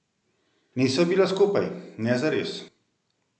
Nisva bila skupaj, ne zares.